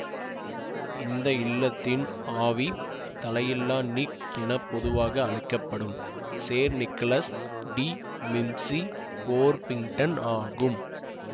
இந்த இல்லத்தின் ஆவி தலையில்லா நிக் என பொதுவாக அழைக்க படும் சேர் நிக்கலஸ் டி மிம்சிபோர்பிங்டன் ஆகும்